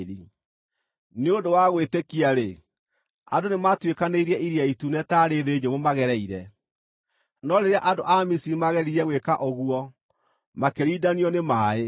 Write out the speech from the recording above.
Nĩ ũndũ wa gwĩtĩkia-rĩ, andũ nĩmatuĩkanĩirie Iria Itune taarĩ thĩ nyũmũ maagereire; no rĩrĩa andũ a Misiri maageririe gwĩka ũguo, makĩrindanio nĩ maaĩ.